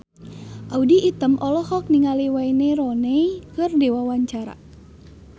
Audy Item olohok ningali Wayne Rooney keur diwawancara